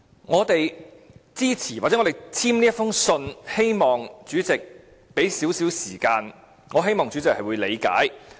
我們支持或簽署這封信，便是希望主席給予我們一些時間，亦希望主席會理解。